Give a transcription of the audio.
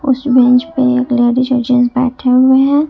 उस बेंच पे एक लेडिस और जेंट्स बैठे हुए हैं।